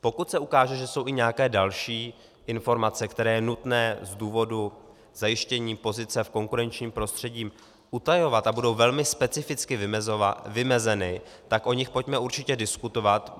Pokud se ukáže, že jsou i nějaké další informace, které je nutné z důvodu zajištění pozice v konkurenčním prostředí utajovat, a budou velmi specificky vymezeny, tak o nich pojďme určitě diskutovat.